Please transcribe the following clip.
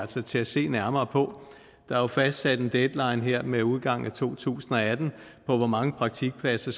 til til at se nærmere på der er jo fastsat en deadline her med udgangen af to tusind og atten for hvor mange praktikpladser